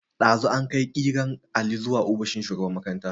Dazu akai kiran Ali zuwa ofishin shugaban makaranta.